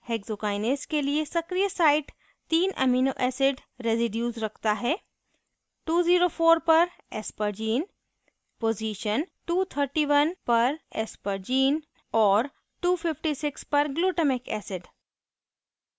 hexokinase के लिए सक्रियsite 3 amino acid residues रखता है: 204 पर aspergine position 231 पर aspergine और 256 पर glutamic acid